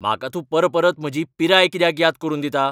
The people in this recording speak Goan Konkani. म्हाका तूं परपरत म्हजी पिराय कित्याक याद करून दिता?